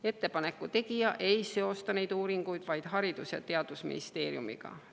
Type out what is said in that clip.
Ettepaneku tegija ei seosta neid uuringuid vaid Haridus‑ ja Teadusministeeriumiga.